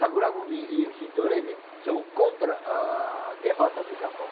Sakurakumi e o Shindoremi são contra a a derrota do Japão.